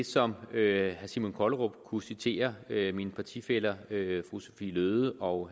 som herre simon kollerup kunne citere mine partifæller fru sophie løhde og